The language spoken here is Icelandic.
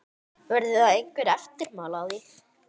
Verða einhver eftirmál að því?